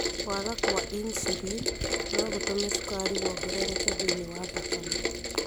Kwaga kwa insulin no gũtũme cukari wongerereke thĩinĩ wa thakame.